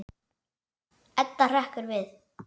Edda hrekkur við.